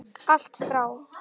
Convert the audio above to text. Allt frá